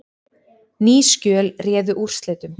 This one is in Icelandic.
Ný skjöl réðu úrslitum